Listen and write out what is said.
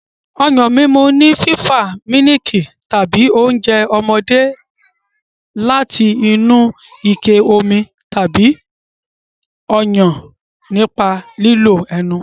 Ọyàn mímu ni fífa mílìkì tàbí oúnjẹ ọmọdé láti inú ike omi tàbí Ọyàn nípa lílo ẹnu.